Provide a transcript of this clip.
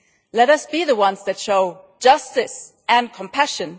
Let us be the ones who show justice and compassion.